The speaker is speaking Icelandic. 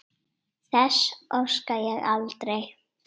Þess óska ég aldrei.